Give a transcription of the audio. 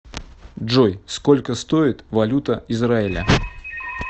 джой сколько стоит валюта израиля